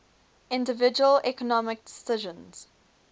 individual economic decisions